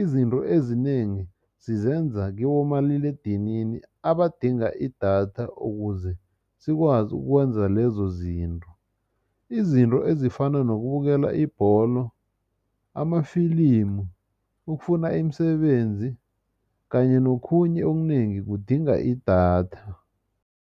izinto ezinengi sizenza kibomaliledinini abadinga idatha ukuze sikwazi ukwenza lezo zinto. Izinto ezifana nokubukela ibholo amafilimu ukufuna imisebenzi kanye nokhunye okunengi kudinga idatha.